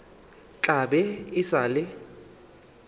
tla be e sa le